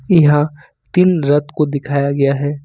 यहां तीन रथ को दिखाया गया है।